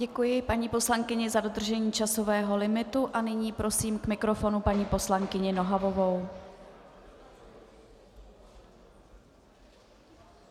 Děkuji paní poslankyni za dodržení časového limitu a nyní prosím k mikrofonu paní poslankyni Nohavovou.